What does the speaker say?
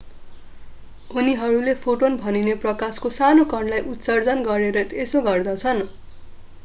उनीहरूले फोटोन भनिने प्रकाशको सानो कणलाई उत्सर्जन गरेर यसो गर्दछन्